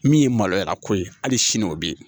Min ye maloya ko ye hali sini o bi yen